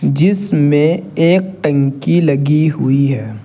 जिसमें एक टंकी लगी हुई है।